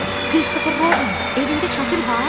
Christopher Robin, evində çətir var?